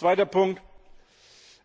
Zweiter Punkt